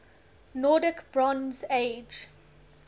nordic bronze age